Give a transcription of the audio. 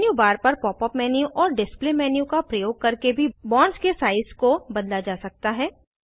menu bar पर pop up menu और display menu का प्रयोग करके भी बॉन्ड्स के साइज़ को बदला जा सकता है